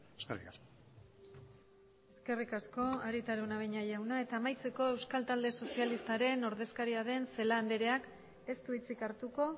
eskerrik asko eskerrik asko arieta araunabeña jauna eta amaitzeko euskal talde sozialistaren ordezkaria den celaá andreak ez du hitzik hartuko